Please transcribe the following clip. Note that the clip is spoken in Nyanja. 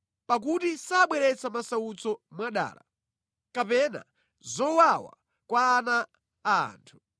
Pakuti sabweretsa masautso mwadala, kapena zowawa kwa ana a anthu.